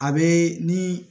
A be ni